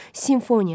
Simfoniya.